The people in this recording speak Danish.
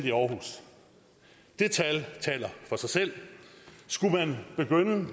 i aarhus de tal taler for sig selv skulle man begynde